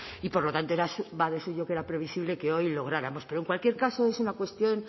y por lo tanto suyo que era previsible que hoy lo lográramos pero en cualquier caso es una cuestión